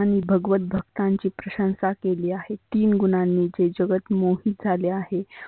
आणि भगवत भक्तांची प्रशंसा केली आहे. तीन गुणांनी हे जगत मोहीत झाले आहे.